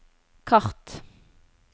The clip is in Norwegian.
kart